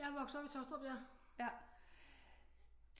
Jeg er vokset op i Taastrup ja